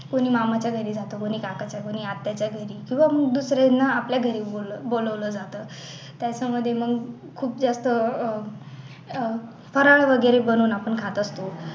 कोणी मामाच्या घरी जातं कोणी काकाच्या घरी, कोणी आत्याच्या घरी मग दुसऱ्यांना आपल्या घरी बोलव बोलवलं जातं त्याच्या मध्ये मग खूप जास्त अह फराळ वगैरे बनवून आपण खात असतो